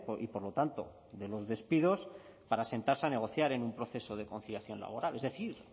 y por lo tanto de los despidos para sentarse a negociar en un proceso de conciliación laboral es decir